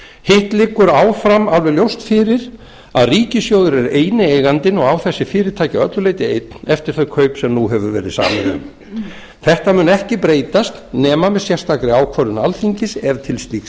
hitt liggur áfram alveg ljóst fyrir að ríkissjóður er eini eigandinn og á þessi fyrirtæki að öllu leyti einn eftir þau kaup sem nú hefur verið samið um þetta mun ekki breytast nema með sérstakri ákvörðun alþingis ef til slíks